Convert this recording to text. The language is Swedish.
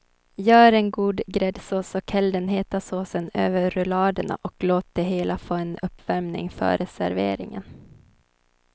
Gör en god gräddsås och häll den heta såsen över rulladerna och låt det hela få en uppvärmning före serveringen.